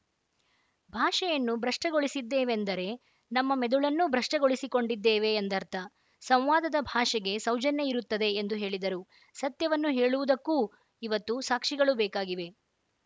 ಭಾಷೆಯನ್ನು ಭ್ರಷ್ಟಗೊಳಿಸಿದ್ದೇವೆಂದರೆ ನಮ್ಮ ಮೆದುಳನ್ನೂ ಭ್ರಷ್ಟಗೊಳಿಸಿಕೊಂಡಿದ್ದೇವೆ ಎಂದರ್ಥ ಸಂವಾದದ ಭಾಷೆಗೆ ಸೌಜನ್ಯ ಇರುತ್ತದೆ ಎಂದು ಹೇಳಿದರು ಸತ್ಯವನ್ನು ಹೇಳುವುದಕ್ಕೂ ಇವತ್ತು ಸಾಕ್ಷಿಗಳು ಬೇಕಾಗಿವೆ